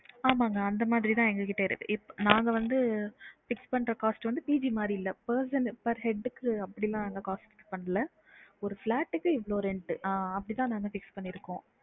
ஆமாங்க அந்த மாதிரி தான் எங்க கிட்ட இருக்கு இப்~ நாங்க வந்து fix பண்ற cost வந்து PG மாதிரி இல்ல person per head க்குனு அப்படில்லா நாங்க cost பண்ணல ஒரு flat க்கு எவ்வளவு rent ஆ அப்படிதா நாங்க fix பண்ணி இருக்கோம்